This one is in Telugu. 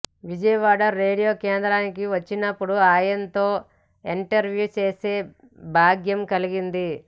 విజయవాడ రేడియో కేంద్రానికి వచ్చినప్పుడు ఆయనతో ఇంటర్వ్యూ చేసే భాగ్యం కలిగింది